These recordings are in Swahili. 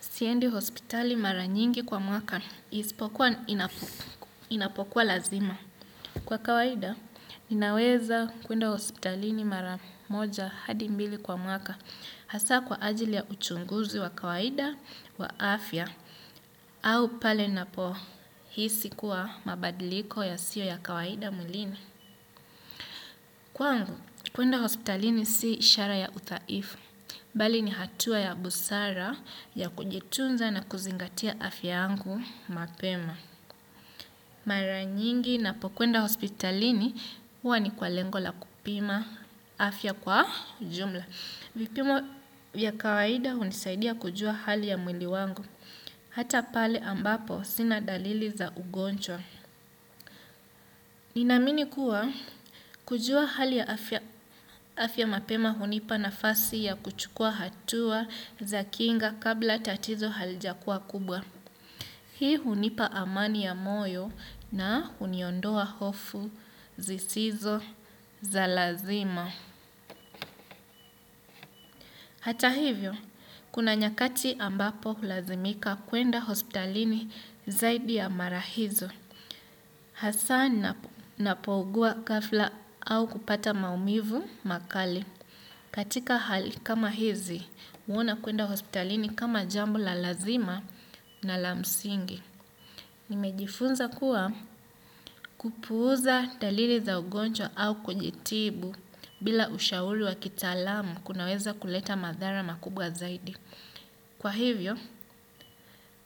Siendi hospitali mara nyingi kwa mwaka ispokuwa inapokuwa lazima. Kwa kawaida, ninaweza kuenda hospitalini mara moja hadi mbili kwa mwaka hasa kwa ajili ya uchunguzi wa kawaida wa afya au pale napohisi kuwa mabadiliko yasiyo ya kawaida mwilini. Kwaangu, kuenda hospitalini si ishara ya udhaifu, bali ni hatua ya busara ya kujitunza na kuzingatia afya yangu mapema. Mara nyingi napokwenda hospitalini, huwa ni kwa lengo la kupima afya kwa jumla. Vipimo vya kawaida hunisaidia kujua hali ya mwili wangu, hata pale ambapo sina dalili za ugonjwa. Ninaamini kuwa kujua hali ya afya mapema hunipa nafasi ya kuchukua hatua za kinga kabla tatizo halijakuwa kubwa. Hii hunipa amani ya moyo na huniondoa hofu zisizo za lazima. Hata hivyo, kuna nyakati ambapo hulazimika kuenda hospitalini zaidi ya mara hizo. Hasa ninapougua ghafla au kupata maumivu makali. Katika hali kama hizi, huona kuenda hospitalini kama jambo la lazima na la msingi. Nimejifunza kuwa kupuuza dalili za ugonjwa au kujitibu bila ushauri wa kitaalam kunaweza kuleta madhara makubwa zaidi. Kwa hivyo,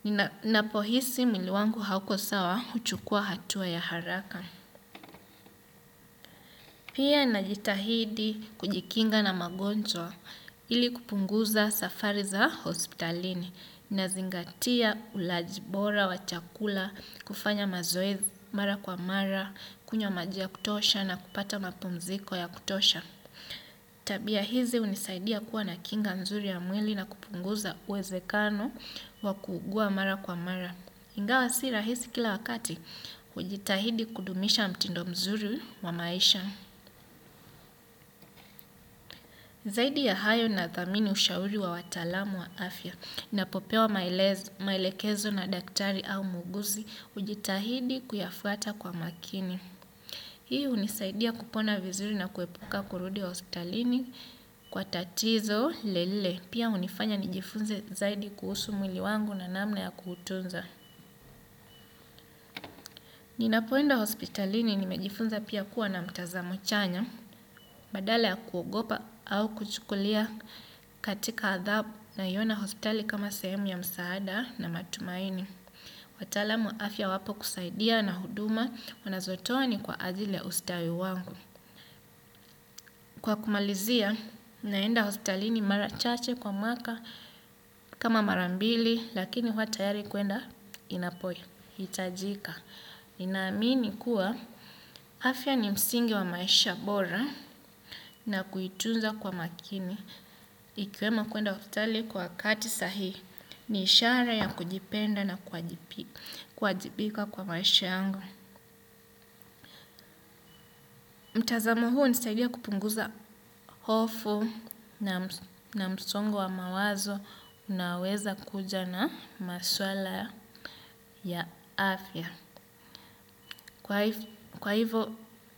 ninapo hisi mwili wangu hauko sawa huchukua hatua ya haraka. Pia najitahidi kujikinga na magonjwa ili kupunguza safari za hospitalini nazingatia ulaji bora wa chakula, kufanya mazoezi mara kwa mara, kunywa maji ya kutosha na kupata mapumziko ya kutosha. Tabia hizi hunisaidia kuwa na kinga nzuri ya mwili na kupunguza uwezekano wa kuugua mara kwa mara. Ingawa si rahisi kila wakati, hujitahidi kudumisha mtindo mzuri wa maisha. Zaidi ya hayo nathamini ushauri wa wataqlamu wa afya. Napopewa maelekezo na daktari au muuguzi, hujitahidi kuyafuata kwa makini. Hii hunisaidia kupona vizuri na kuepuka kurudi wa hospitalini kwa tatizo lile lile. Pia hunifanya nijifunze zaidi kuhusu mwili wangu na namna ya kuutunza. Ninapoenda hospitalini nimejifunza pia kuwa na mtazamo chanya, badala ya kuogopa au kuchukulia katika adhabu naiona hospitali kama sehemu ya msaada na matumaini. Watalam wa afya wapo kusaidia na huduma wanazotoa ni kwa ajili ya ustawi wangu. Kwa kumalizia, naenda hospitalini mara chache kwa mwaka kama mara mbili lakini huwa tayari kuenda inapohitajika. Ninaamini kuwa afya ni msingi wa maisha bora na kuitunza kwa makini. Ikiwemo kuenda hospitali kwa wakati sahii ni ishara ya kujipenda na kuwajibika kwa maisha yangu. Mtazamo huu hunisaidia kupunguza hofu na msongo wa mawazo naweza kuja na maswala ya afya. Kwa hivo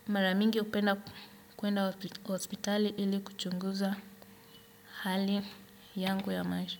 mara mingi hupenda kuenda hospitali ili kuchunguza hali yangu ya maisha.